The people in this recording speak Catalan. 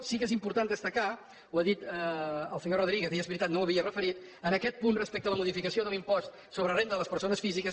sí que és important destacar ho ha dit el senyor rodríguez i és veritat no ho havia referit en aquest punt respecte a la modificació de l’impost sobre la renda de les persones físiques